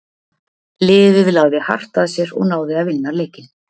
Liðið lagði hart að sér og náði að vinna leikinn.